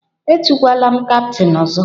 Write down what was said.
Etukwala m kaptain ọzọ!